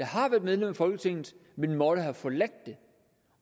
har været medlem af folketinget men måtte have forladt det